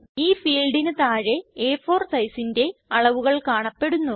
ഈ ഫീൽഡിന് താഴെ അ4 sizeന്റെ അളവുകൾ കാണപ്പെടുന്നു